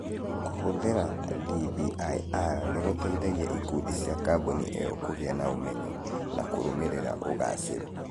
Kũhũthĩra DBIR nĩ gũteithĩtie ikundi cia kambuni ĩyo kũgĩa na ũmenyo na kũrũmĩrĩra ũgaacĩru.